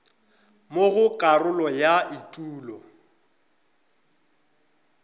mo go karolo ya etulo